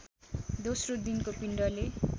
दोस्रो दिनको पिण्डले